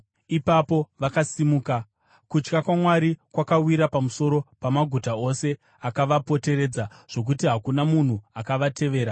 Ipapo vakasimuka, kutya Mwari kukawira pamusoro pamaguta ose akavapoteredza zvokuti hakuna munhu akavatevera.